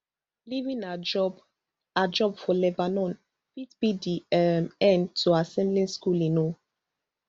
leaving her job her job for lebanon fit be di um end to her siblings schooling um